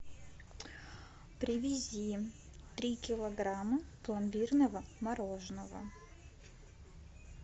привези три килограмма пломбирного мороженного